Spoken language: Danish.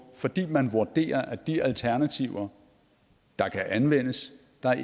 fordi man vurderer at de alternativer der kan anvendes